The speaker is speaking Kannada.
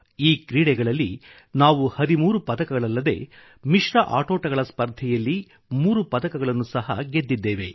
ಈ ಕ್ರೀಡೆಗಳಲ್ಲಿ ನಾವು 13 ಪದಕಗಳಲ್ಲದೆ ಮಿಶ್ರ ಆಟೋಟಗಳ ಸ್ಪರ್ಧೆಯಲ್ಲಿ 3 ಪದಕಗಳನ್ನು ಸಹ ಗೆದ್ದಿದ್ದೇವೆ